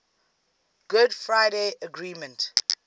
good friday agreement